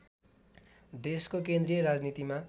देशको केन्द्रीय राजनीतिमा